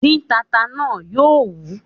Dín tata náà! Yóò wí